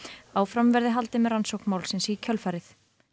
áfram verði haldið með rannsókn málsins í kjölfarið